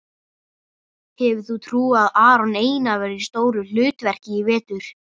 Hefur þú trú á að Aron Einar verði í stóru hlutverki í vetur?